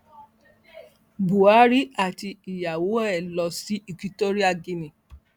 buhari àti ìyàwó ẹ lọ sí equitorial guinea